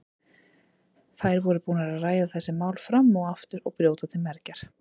Þær voru búnar að ræða þessi mál fram og aftur og brjóta til mergjar.